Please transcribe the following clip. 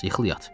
Yıxıl yat.